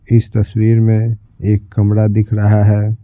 इस तस्वीर में एक कमरा दिख रहा है।